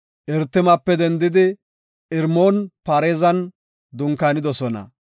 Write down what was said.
Irtimape dendidi Irmoon-Pareezan dunkaanidosona.